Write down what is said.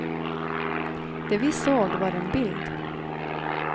Det vi såg var en bild.